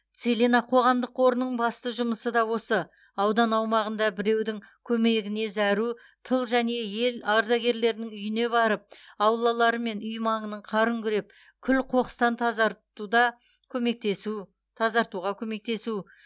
целина қоғамдық қорының басты жұмысы да осы аудан аумағында біреудің көмегіне зәру тыл және ең ардагерлерінің үйіне барып аулалары мен үй маңының қарын күреп күл қоқыстан тазартуда көмектесу тазартуға көмектесу